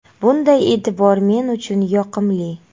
Bunday e’tibor men uchun yoqimli.